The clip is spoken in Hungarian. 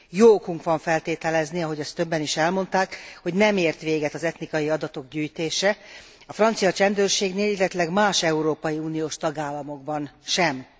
Jó okunk van feltételezni, ahogy azt többen is elmondták, hogy nem ért véget az etnikai adatok gyűjtése a francia csendőrségnél, illetőleg más európai uniós tagállamokban sem.